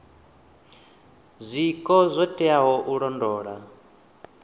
zwiko zwo teaho u londola